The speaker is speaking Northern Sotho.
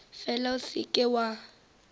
fela o se ke wa